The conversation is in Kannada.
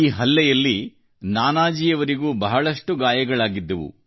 ಹಲ್ಲೆಯಲಿ ನಾನಾಜಿಯವರಿಗೂ ಬಹಳಷ್ಟು ಗಾಯಗಳಾದವು